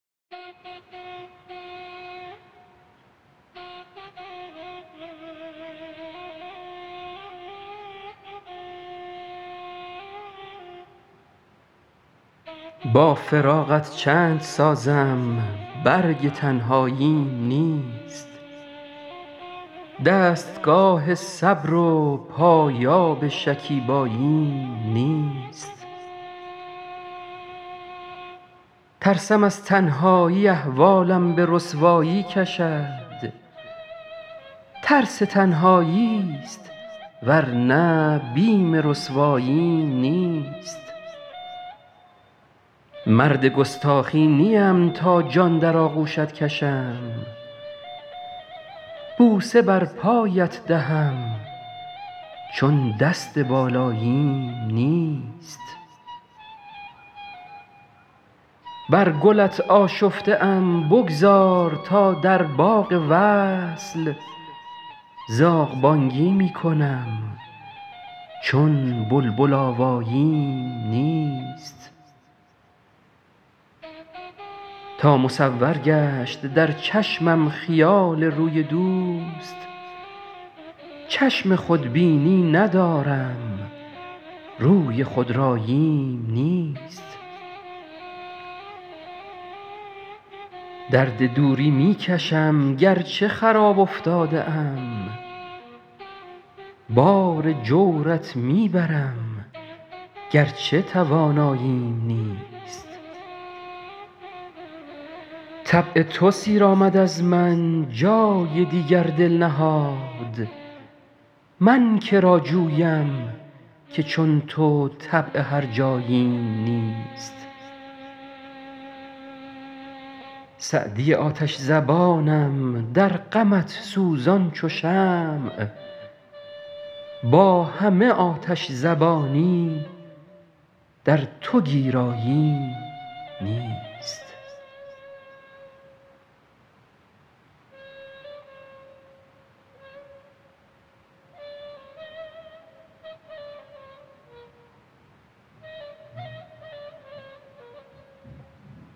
با فراقت چند سازم برگ تنهاییم نیست دستگاه صبر و پایاب شکیباییم نیست ترسم از تنهایی احوالم به رسوایی کشد ترس تنهایی ست ور نه بیم رسواییم نیست مرد گستاخی نیم تا جان در آغوشت کشم بوسه بر پایت دهم چون دست بالاییم نیست بر گلت آشفته ام بگذار تا در باغ وصل زاغ بانگی می کنم چون بلبل آواییم نیست تا مصور گشت در چشمم خیال روی دوست چشم خودبینی ندارم روی خودراییم نیست درد دوری می کشم گر چه خراب افتاده ام بار جورت می برم گر چه تواناییم نیست طبع تو سیر آمد از من جای دیگر دل نهاد من که را جویم که چون تو طبع هرجاییم نیست سعدی آتش زبانم در غمت سوزان چو شمع با همه آتش زبانی در تو گیراییم نیست